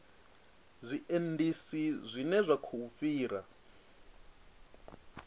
zwiendisi zwine zwa khou fhira